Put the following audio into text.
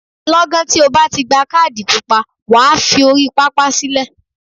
Lọ́gán tí o bá ti gba kádì pupa, wà á fi orí pápá sílẹ̀.